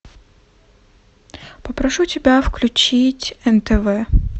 попрошу тебя включить нтв